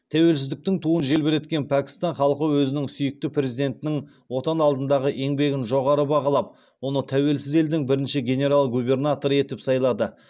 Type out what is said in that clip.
тәуелсіздіктің туын желбіреткен пәкістан халқы өзінің сүйікті перзентінің отан алдындағы еңбгін жоғары бағалап оны тәуелсіз елдің бірінші генерал губернаторы етіп сайлады